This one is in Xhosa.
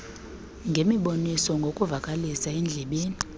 ngemiboniso ngokuvakalisa endlebeni